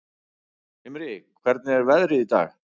Himri, hvernig er veðrið í dag?